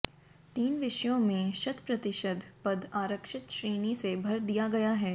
तीन विषयों में शत प्रतिशत पद आरक्षित श्रेणी से भर दिया गया है